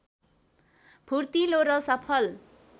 फूर्तिलो र सफल